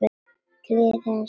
Gleði hans og sorg.